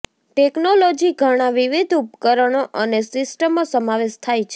technology ઘણા વિવિધ ઉપકરણો અને સિસ્ટમો સમાવેશ થાય છે